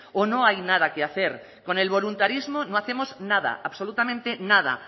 o no hay nada que hacer con el voluntarismo no hacemos nada absolutamente nada